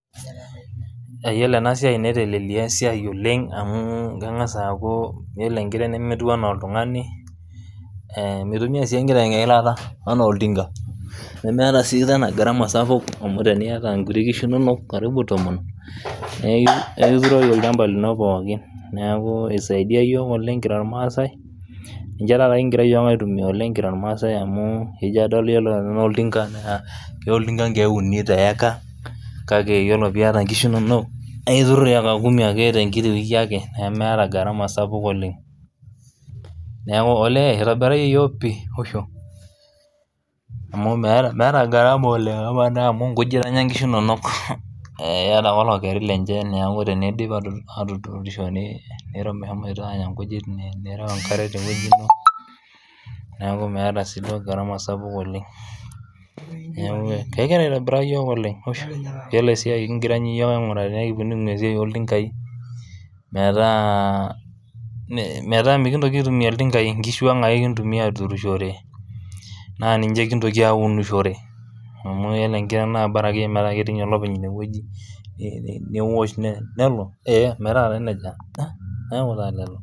Yiolo ena siai netelelia esiai oleng amu keng'as aaku yiolo enkiteng nemetiu enaa oltung'ani eh mitumia sii enkiteng eilata anaa oltinka nemeeta sii tena gharama sapuk amu teniyata inkuti kishu inonok karibu tomon neki nekituroki olchamba lino pookin neeku eisaidia iyiok oleng kira irmaasae ninche taata kingira iyiok aitumia oleng kira irmaasae amu ijia adol yiolo enaa oltinka naa keya oltinka inkeek uni teyaka kake yiolo piata inkishu inonok aiturr eka kumi ake tenkiti wiki ake nemeeta gharama sapuk oleng neeku olee itobirayie iyiok pii usho amu meeta meeta gharama oleng amaa naa amu inkujit enya inkishu inonok eh keeta ake olokeri lenche neaku teneidip atutu atuturishore nireu mehomoito anya inkujit nireu enkare tewueji ino neeku meeta siiduo gharama sapuk oleng niaku kegira aitobiraa iyiok oleng usho yiolo esiai kingira ninye iyiok aing'uraa tenaa ekitum esiai oltinkai metaa me metaa mikintoki aitumia iltinkai inkishuang ake kintumia aturishore naa ninche kintoki aunishore amu yiolo enkiteng naa bara ake metaa ketii inye olopeny inewueji ni niwosh nelo eh metaa taa nejia niaku taa lelo.